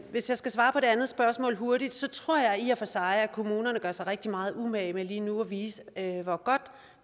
hvis jeg skal svare på det andet spørgsmål hurtigt tror jeg i og for sig at kommunerne gør sig rigtig meget umage med lige nu at vise hvor godt